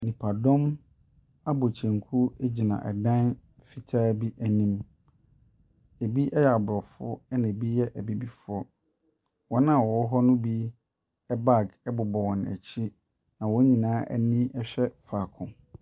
Nnipadɔm abɔ kyenku egyina ɛdan fitaa bi anim. Ɛbi yɛ abrɔfo ɛna ebi yɛ abibifoɔ. Wɔn a ɛwɔ hɔ no bi ɛbag ɛbobɔ wɔn akyi na wɔn nyinaa ani hwɛ faako.